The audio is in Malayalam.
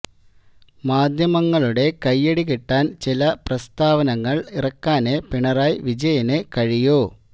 മാധ്യമങ്ങളുടെ കയ്യടി കിട്ടാന് ചില പ്രസ്താവനകള് ഇറക്കാനേ പിണറായ വിജയന് കഴിയൂ